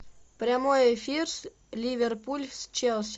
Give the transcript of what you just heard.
прямой эфир ливерпуль с челси